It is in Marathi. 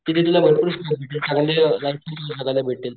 तिथे तुला भरपूर स्कोप भेटेल.